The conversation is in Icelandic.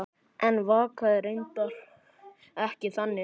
En vaknaði reyndar ekki þannig.